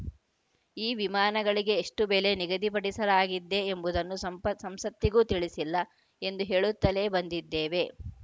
ಈ ವಿಮಾನಗಳಿಗೆ ಎಷ್ಟುಬೆಲೆ ನಿಗದಿಪಡಿಸಲಾಗಿದ್ದೆ ಎಂಬುದನ್ನು ಸಂಸತ್ತಿಗೂ ತಿಳಿಸಿಲ್ಲ ಎಂದು ಹೇಳುತ್ತಲೇ ಬಂದಿದ್ದೇವೆ